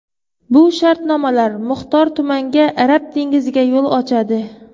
Bu shartnomalar muxtor tumanga Arab dengiziga yo‘l ochadi.